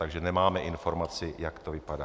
Takže nemáme informaci, jak to vypadá.